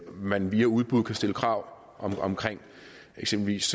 man via udbud kan stille krav om eksempelvis